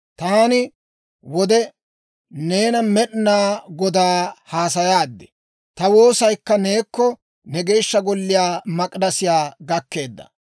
«Taani wode, neena Med'inaa Godaa hassayaadi. Ta woosaykka neekko, ne geeshsha Golliyaa Mak'idasiyaa gakkeedda.